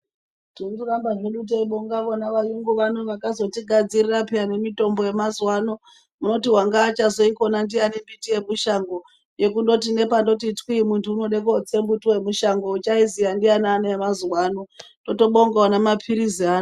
Tirikuramba hedu teibonga vona vayungu vano vakazotigadzirira peya nemitombo yemazuvaano munoti wanga achazoikona ndiyani miti yemushango yekundoti nepanoti twi muntu unoda kotse muti wemushango uchaoziya ndianani yemazuvaano totobonga ona mapirizi aayo.